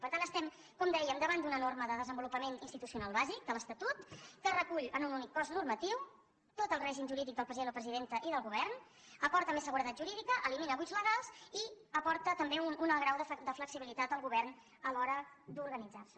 per tant estem com dèiem davant d’una norma de desenvolupament institucional bàsic de l’estatut que recull en un únic cos normatiu tot el règim jurídic del president o presidenta i del govern aporta més seguretat jurídica elimina buits legals i aporta també un alt grau de flexibilitat al govern a l’hora d’organitzar se